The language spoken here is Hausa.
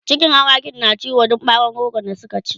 cikin awakin na ciwo Dan bawon rogo da Suka ci